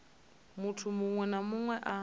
munthu muṅwe na muṅwe a